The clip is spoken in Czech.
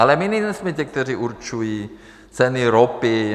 Ale my nejsme ti, kteří určují ceny ropy.